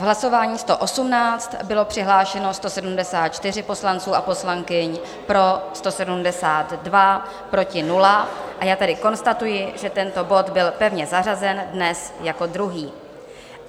V hlasování 118 bylo přihlášeno 174 poslanců a poslankyň, pro 172, proti 0, a já tedy konstatuji, že tento bod byl pevně zařazen dnes jako druhý.